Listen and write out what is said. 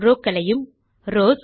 rows ஐயும் rows